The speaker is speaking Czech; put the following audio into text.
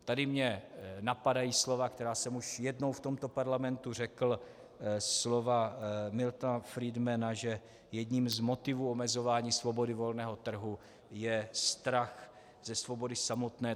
Tady mě napadají slova, která jsem už jednou v tomto parlamentě řekl, slova Miltona Friedmana, že jedním z motivů omezování svobody volného trhu je strach ze svobody samotné.